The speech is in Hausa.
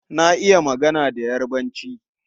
Na iya magana da Yarbanci.